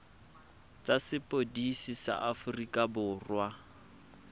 tsa sepodisi sa aforika borwa